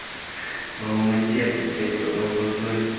в алмате тут блять под алматой